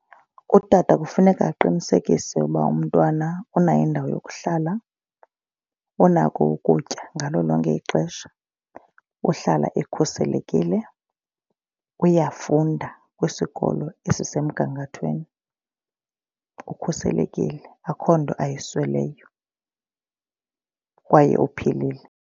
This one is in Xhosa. Utata kufuneka aqinisekise ukuba umntwana unayo indawo yokuhlala. Unako ukutya ngalo lonke ixesha. Uhlala ekhuselekile. Uyafunda kwisikolo esisemgangathweni. Ukhuselekile, akukho nto ayisweleyo kwaye uphilile.